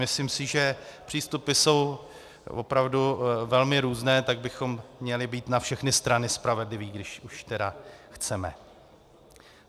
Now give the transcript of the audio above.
Myslím si, že přístupy jsou opravdu velmi různé, tak bychom měli být na všechny strany spravedliví, když už tedy chceme.